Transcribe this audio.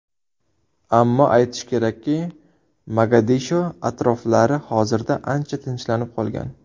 Ammo aytish kerakki, Mogadisho atroflari hozirda ancha tinchlanib qolgan.